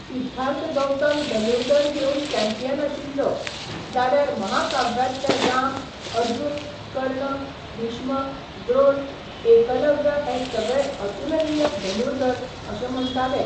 सिद्धार्थ गौतम धनुर्धर घेवन चॅम्पियन आशिल्लो, जाल्यार महाकाव्यांतले राम, अर्जुन, कर्ण, भीष्म, द्रोण, एकलव्य हे सगळे अतुलनीय धनुर्धर अशें म्हण्टाले.